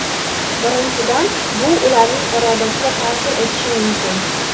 Birinchidan, bu ularning irodasiga ta’sir etishi mumkin.